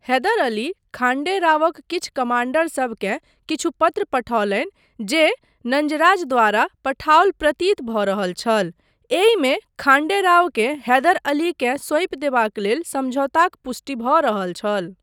हैदर अली खाण्डे रावक किछु कमाण्डरसबकेँ किछु पत्र पठौलनि जे नंजराज द्वारा पठाओल प्रतीत भऽ रहल छल, एहिमे खाण्डे रावकेँ हैदर अलीकेँ सौंपि देबाक लेल समझौताक पुष्टि भऽ रहल छल।